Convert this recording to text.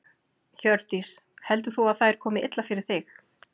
Hjördís: Heldur þú að þær komi illa fyrir þig?